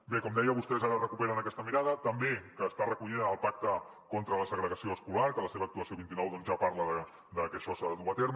bé com deia vostès ara recuperen aquesta mirada també que està recollida en el pacte contra les segregació escolar que la seva actuació vint nou ja parla de que això s’ha de dur a terme